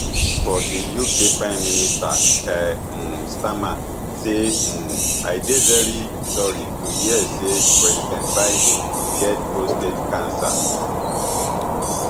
for di uk prime minister keir um starmer say um i dey very sorry to hear say president biden get prostate cancer